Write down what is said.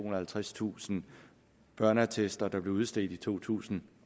og halvtredstusind børneattester der blev udstedt i to tusind